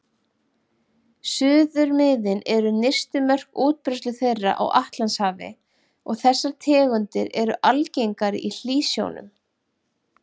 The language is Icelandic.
Suðurmiðin eru nyrstu mörk útbreiðslu þeirra á Atlantshafi og þessar tegundir eru algengari í hlýsjónum.